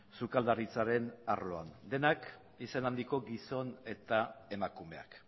sukaldaritzaren arloan denak izen handiko gizon eta emakumeak